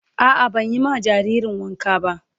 A'a ban yi ma jaririn wanka ba